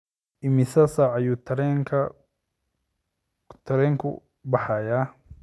Imisa saac ayuu tareenku baxayaa?